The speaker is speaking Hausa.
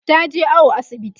taje awo asibiti